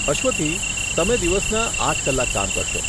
અશ્વથી, તમે દિવસના આઠ કલાક કામ કરશો.